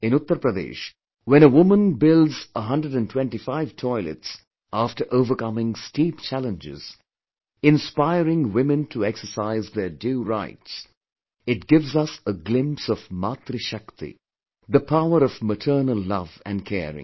In Uttar Pradesh, when a woman builds 125 toilets after overcoming steep challenges, inspiring women to exercise their due rights, it gives us a glimpse of 'Matri Shakti', the power of maternal love & caring